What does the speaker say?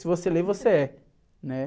Se você lê, você é, né?